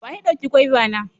Wa ya dauka gwaiva na?